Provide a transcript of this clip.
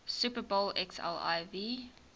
super bowl xliv